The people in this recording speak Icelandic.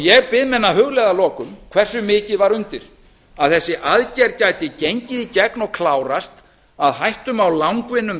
ég bið menn að hugleiða að lokum hversu mikið var undir að þessi aðgerð gæti gengið í gegn og klárast að hættum á langvinnum